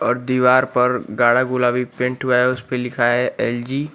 और दीवार पर गाढ़ा गुलाबी पेंट हुआ है उसपे लिखा है एल_जी ।